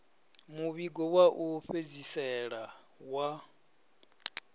muvhigo wa u fhedzisela wa